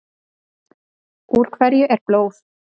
Úr hverju er blóð?